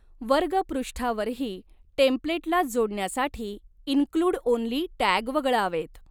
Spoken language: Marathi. वर्ग पृष्ठावरही टेम्प्लेटलाच जोडण्यासाठी इन्क्लूड ओन्ली टॅग वगळावेत.